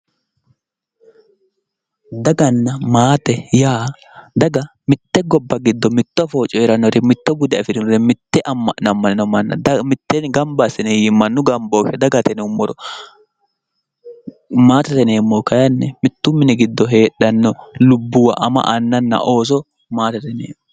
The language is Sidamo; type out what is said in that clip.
Daganna maate yaa daga mite gobba giddo mitto afoo coyiranore ,mitto bude afirinore, mite ama'no ama'nino manna mitteenni gamba assine mannu gambooshe dagate yinnummoro, maatete yinneemmohu kayinni mitu mini giddo heedhano lubbuwa ama anna ooso maatete yinneemmo.